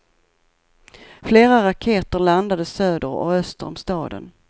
Flera raketer landade söder och öster om staden.